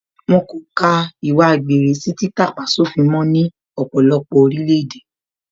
Wọ́n kò ka ìwà àgbèrè sí títà-pá-sófin mó ní ọ̀pọ̀lọpọ̀ orílẹ̀ èdè